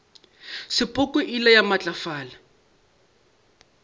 sepoko e ile ya matlafala